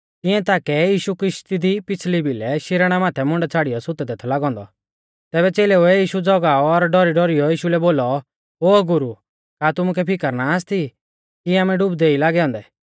तिंया ताकै यीशु किशती दी पिछ़ली भिलै शिराणै माथै मुंडा छ़ाड़ियौ सुतदै थौ लागौ औन्दौ तैबै च़ेलेउऐ यीशु ज़गाऔ और डौरीडौरियौ यीशु लै बोलौ ओ गुरु का तुमुकै फिकर ना आसती कि आमै डुबदै ई लागै औन्दै